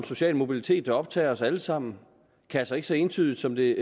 social mobilitet der optager os alle sammen altså ikke så entydigt som det